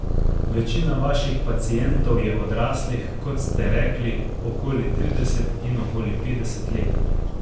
Večina vaših pacientov je odraslih, kot ste rekli, okoli trideset in okoli petdeset let.